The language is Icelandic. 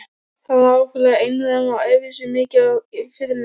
Hann var ákaflega einrænn og æfði sig mikið á fiðluna.